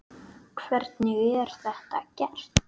Hvernig er þetta gert?